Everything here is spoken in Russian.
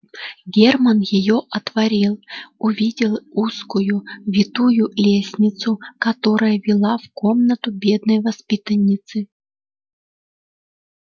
германн её отворил увидел узкую витую лестницу которая вела в комнату бедной воспитанницы